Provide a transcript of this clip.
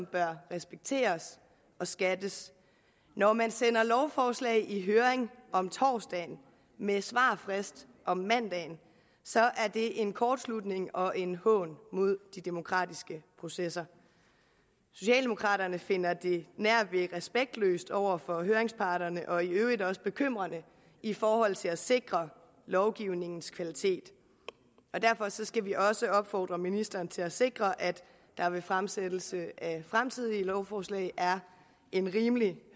bør respekteres og skattes når man sender lovforslag i høring om torsdagen med svarfrist om mandagen er det en kortslutning og en hån mod de demokratiske processer socialdemokraterne finder det nærved respektløst over for høringsparterne og i øvrigt også bekymrende i forhold til at sikre lovgivningens kvalitet derfor skal vi også opfordre ministeren til at sikre at der ved fremsættelse af fremtidige lovforslag er en rimelig